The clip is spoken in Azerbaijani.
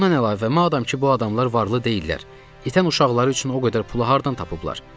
Bundan əlavə, madam ki bu adamlar varlı deyillər, itən uşaqları üçün o qədər pulu hardan tapıblar?